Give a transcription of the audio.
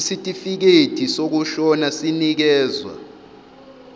isitifikedi sokushona sinikezwa